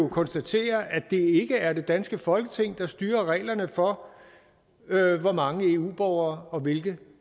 konstatere at det ikke er det danske folketing der styrer reglerne for hvor mange eu borgere og hvilke